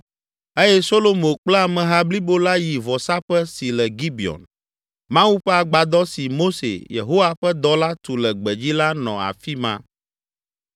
eye Solomo kple ameha blibo la yi vɔsaƒe si le Gibeon. Mawu ƒe agbadɔ si Mose, Yehowa ƒe dɔla tu le gbedzi la nɔ afi ma.